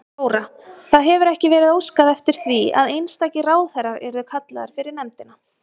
Þóra: Það hefur ekki verið óskað eftir því að einstakir ráðherrar yrðu kallaðir fyrir nefndina?